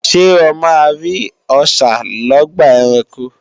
Ṣé o máa rí Ọṣà lọ́gbà ẹranko?